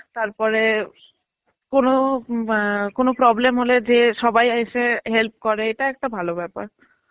তারপরে কোনো ম এ কোনো problem হলে যে সবাই এসে help করে এটা একটা ভালো ব্যাপার.